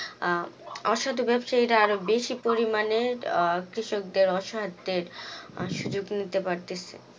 অসাধু ব্যবসায়ীরা আরো বেশি পরিমাণে আহ কৃষকদের অস্যাধের সুযোগ নিতে পারতিছে